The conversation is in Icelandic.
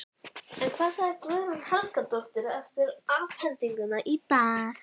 En hvað sagði Guðrún Helgadóttir eftir afhendinguna í dag?